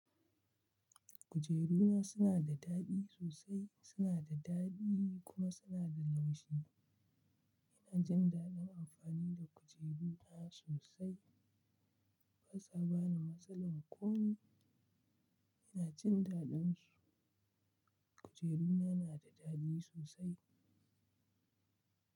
Kujeru na suna da daɗi sosai, suna da daɗi kuma suna da laushi. Ina jin daɗin amfani da kujeru na sosai. Basa bani matsalan komai Ina jin daɗin su. Kujeru na na da daɗi sosai.